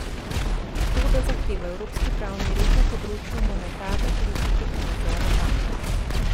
To da zahteva evropski pravni red na področju monetarne politike in nadzora bank.